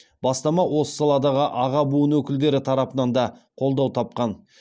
бастама осы саладағы аға буын өкілдері тарапынан да қолдау тапқан